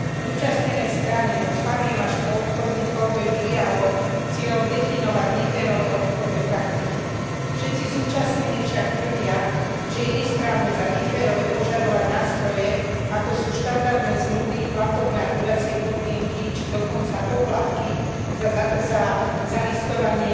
Zúčastnené strany od fariem až po obchodníkov vedú dialóg s cieľom definovať neférové obchodné praktiky. Všetci zúčastnení však tvrdia, že je nesprávne za neférové požadovať nástroje, ako sú štandardné zmluvy, platobné a dodacie podmienky či dokonca poplatky za zalistovanie